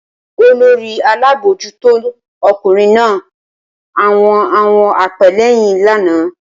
Olórí Alábójútò okùnrin na àwon àwon apéléyìn lánàá